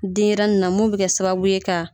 Denɲɛrɛnin na min bɛ kɛ sababu ye ka